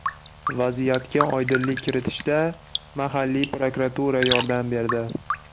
Vaziyatga oydinlik kiritishda mahalliy prokuratura yordam berdi.